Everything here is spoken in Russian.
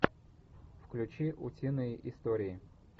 включи утиные истории